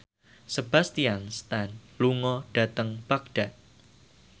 Sebastian Stan lunga dhateng Baghdad